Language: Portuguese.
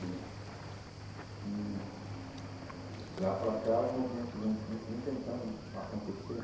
E de lá para cá, o movimento vem, a gente vem tentando né acontecer.